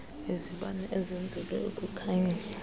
izibane ezenzelwe ukukhanyisa